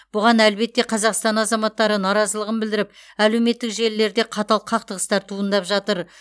бұған әлбетте қазақстан азаматтары наразылығын білдіріп әлеуметтік желілерде қатал қақтығыстар туындап жатыр